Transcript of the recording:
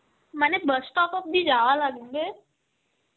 মানে bus stop অব্দি যাওয়া লাগবে.